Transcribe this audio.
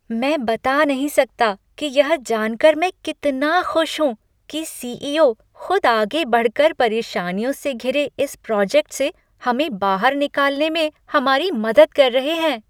मैं बता नहीं सकता कि यह जानकर मैं कितना खुश हूँ कि सी.ई.ओ. खुद आगे बढ़कर परेशानियों से घिरे इस प्रोजेक्ट से हमें बाहर निकालने में हमारी मदद कर रहे हैं!